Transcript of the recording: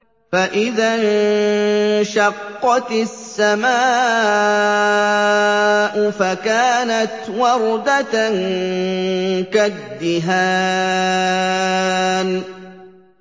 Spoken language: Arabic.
فَإِذَا انشَقَّتِ السَّمَاءُ فَكَانَتْ وَرْدَةً كَالدِّهَانِ